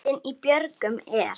Lundinn í björgum er.